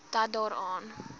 dat daar aan